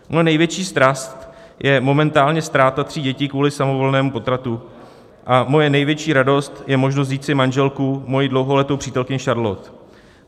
Moje největší strast je momentálně ztráta tří dětí kvůli samovolnému potratu a moje největší radost je možnost vzít si manželku, svoji dlouholetou přítelkyni Charlotte.